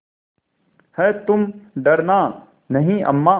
हैतुम डरना नहीं अम्मा